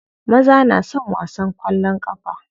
Maza na son wasan kwallon kafa.